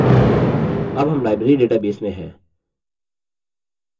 अब हम library database में हैं